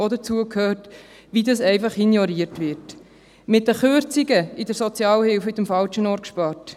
Mit den Kürzungen in der Sozialhilfe wird am falschen Ort gespart.